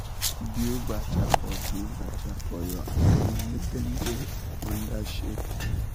build bacha for build bacha for your animal make dem da under shade